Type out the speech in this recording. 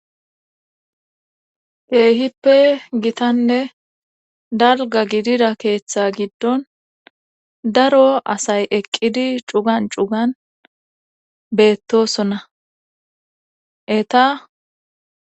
keehippe gitanne dalga gidida keeththa giddon daro asay eqqidi cugan cugan beettosonna eta